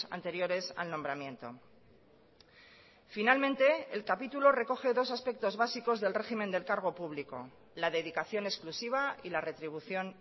anteriores al nombramiento finalmente el capítulo recoge dos aspectos básicos del régimen del cargo público la dedicación exclusiva y la retribución